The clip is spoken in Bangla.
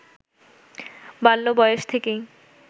বাল্য বয়স থেকেই